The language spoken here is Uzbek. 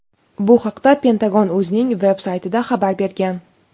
Bu haqda Pentagon o‘zining veb-saytida xabar bergan.